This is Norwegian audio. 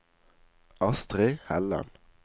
Astrid Helland